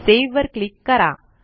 save वर click करा